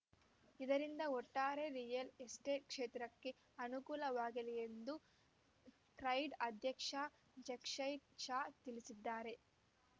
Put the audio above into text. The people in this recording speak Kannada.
ಇದರಿಂದ ಒಟ್ಟಾರೆ ರಿಯಲ್‌ ಎಸ್ಟೇಟ್‌ ಕ್ಷೇತ್ರಕ್ಕೆ ಅನುಕೂಲವಾಗಲಿ ಎಂದು ಕ್ರೆಡೈ ಅಧ್ಯಕ್ಷ ಜಕ್ಷಯ್‌ ಶಾ ತಿಳಿಸಿದ್ದಾರೆ